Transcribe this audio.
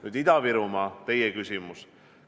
Nüüd Ida-Virumaa, teie küsimus.